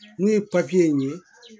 N'u ye in ye